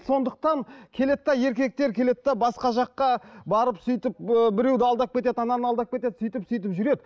сондықтан келеді де еркектер келеді де басқа жаққа барып сөйтіп ы біреуді алдап кетеді ананы алдап кетеді сөйтіп сөйтіп жүреді